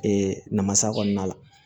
Ee namasa kɔnɔna la